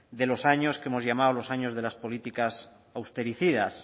de los años que hemos llamado los años de las políticas austericidas